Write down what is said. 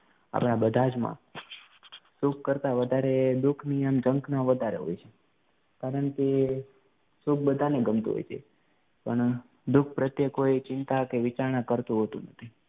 હવે આ બધા જ માં સુખ કરતા વધારે દુઃખની આમ જંખના વધારે હોય છે કારણ કે સુખ બધાને ગમતું હોય છે પણ દુઃખ પ્રત્યે કોઈ ચિંતા કે વિચારણા કરતું હોતું નથી